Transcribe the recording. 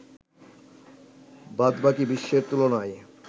বাদবাকি বিশ্বের তুলনায়